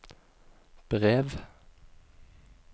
brev